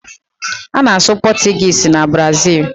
A na-asụ Pọtụgis na Brazịl.